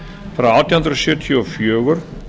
frá átján hundruð sjötíu og fjögur